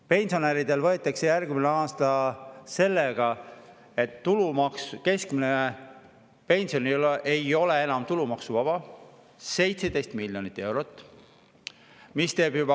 Pensionäridelt võetakse järgmisel aastal sellega, et keskmine pension ei ole enam tulumaksuvaba, 17 miljonit eurot.